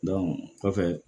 kɔfɛ